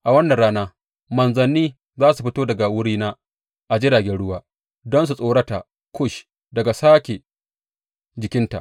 A wannan rana manzanni za su fito daga wurina a jiragen ruwa don su tsorata Kush daga sake jikinta.